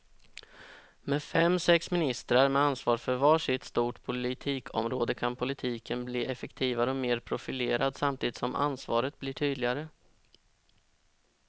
Med fem, sex ministrar med ansvar för var sitt stort politikområde kan politiken bli effektivare och mer profilerad samtidigt som ansvaret blir tydligare.